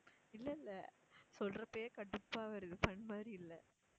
இல்ல இல்ல சொல்றப்பவே கடுப்பா வருது fun மாதிரி இல்ல